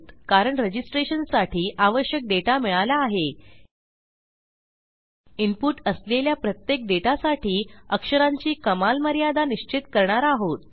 कारण रजिस्ट्रेशनसाठी आवश्यक डेटा मिळाला आहे इनपुट असलेल्या प्रत्येक डेटासाठी अक्षरांची कमाल मर्यादा निश्चित करणार आहोत